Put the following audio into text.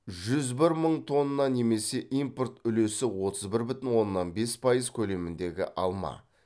жүз бір мың тонна немесе импорт үлесі отыз бір бүтін оннан бес пайыз көлеміндегі алма